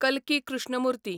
कल्की Krishnamurti